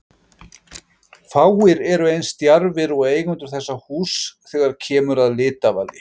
fáir eru eins djarfir og eigendur þessa húss þegar kemur að litavali